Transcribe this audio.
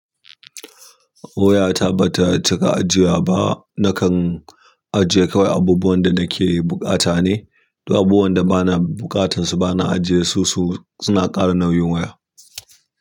Waya ta ba ta cika ajiya ba. Nakan ajiye kawai abubuwan da na ke buƙata ne, duk abubuwan da bana buƙatansu bana ajiye su, su suna ƙara nauyin waya.